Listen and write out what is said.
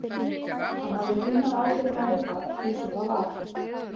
Hann hafði kunnað ágætlega við það eins og það var.